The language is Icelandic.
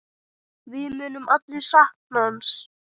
Við munum allir sakna hans.